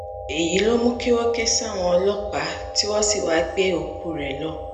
èyí ló mú kí wọ́n ké sáwọn ọlọ́pàá lórí aago tí wọ́n sì wáá gbé òkú rẹ lọ